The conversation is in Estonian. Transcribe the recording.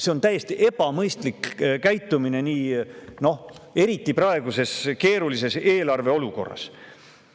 See on täiesti ebamõistlik käitumine, eriti praeguses keerulises eelarve olukorras.